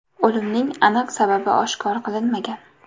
O‘limning aniq sababi oshkor qilinmagan.